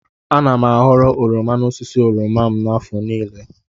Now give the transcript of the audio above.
Ana m a ghọrọ oroma n'osisi oroma m n'afọ niile.